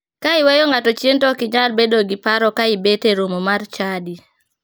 Ka iweyo ngato chien to ok inyal bedo gi paro ka ibet e romo mar chadi.